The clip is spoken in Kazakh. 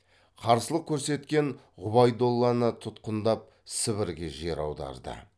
қарсылық көрсеткен ғұбайдолланы тұтқындап сібірге жер аударды